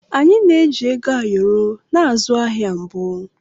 Anyị na-eji Ego ayoro na-azụ ahịa mbụ.